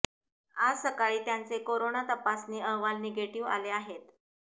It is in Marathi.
आज सकाळी त्यांचे कोरोना तपासणी अहवाल निगेटिव्ह आले आहेत